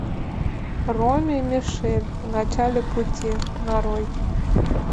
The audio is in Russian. роми и мишель в начале пути нарой